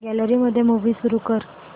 gallery मध्ये movie सुरू कर